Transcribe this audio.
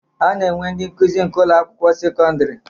A na-enwe ndị nkụzi nke Ụlọ akwụkwọ sekọndrị